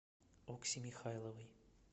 окси михайловой